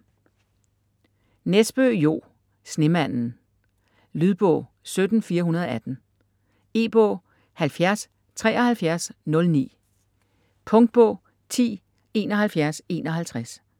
Nesbø, Jo: Snemanden Lydbog 17418 E-bog 707309 Punktbog 107151